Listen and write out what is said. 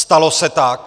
Stalo se tak.